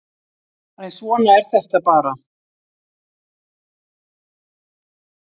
En svona er þetta bara